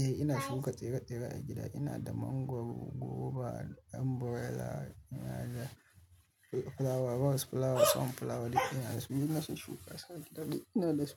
Eh ina shuka tsire-tsire a gida, ina da mangwaro, goriba, ɗan burela, ina da fulawa, bos fulawa, son fulawa duk ina su. Duk na shusshuka su gida duk ina da su.